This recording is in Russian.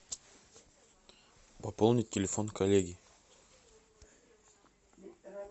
пополнить телефон коллеги